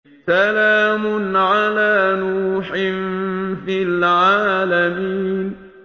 سَلَامٌ عَلَىٰ نُوحٍ فِي الْعَالَمِينَ